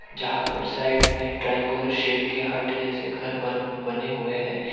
जहां पर साइड में ट्रायंगुलर शेप के हट जैसे घर बन बने हुए हैं।